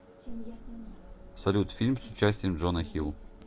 салют фильм с участием джона хил